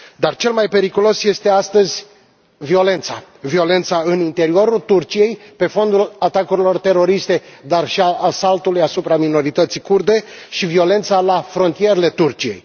Dar cel mai periculos lucru este astăzi violența violența în interiorul Turciei, pe fondul atacurilor teroriste, dar și al asaltului asupra minorității kurde și violența la frontierele Turciei.